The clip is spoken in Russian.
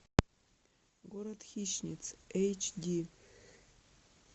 город хищниц эйч ди